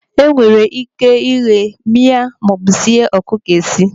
Enwere ike ighe, mịa maọbụ sie ọkụkọ esi.